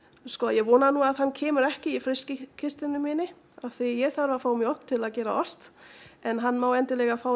sko ég vona nú að hann komi ekki í frystikistuna mína því ég þarf að fá mjólk til að gera ost en hann má fá